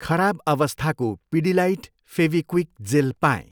खराब अवस्थाको पिडिलाइट फेभिक्विक जेल पाएँ।